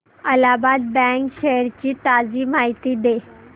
Allahabad bank shares ची ताजी माहिती दे